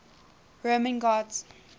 roman gods